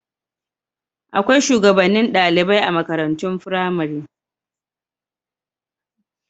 Akwai shugabannin ɗalibai a makarantun firamare.